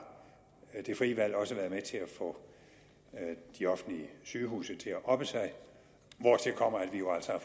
det frie valg også været med til at få de offentlige sygehuse til at oppe sig hvortil kommer at vi jo altså